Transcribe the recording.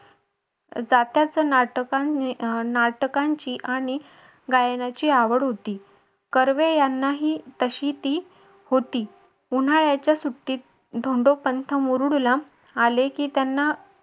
नाटकांची आणि गायनाची आवड होती. कर्वे यांना ही तशी ती होती. उन्हाळ्याच्या सुट्टीत धोंडोपंत मुरुडला आले की त्यांना